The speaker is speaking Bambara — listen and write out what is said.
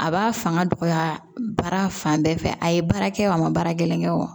A b'a fanga dɔgɔya baara fan bɛɛ fɛ a ye baara kɛ wa a ma baara gɛlɛn kɛ o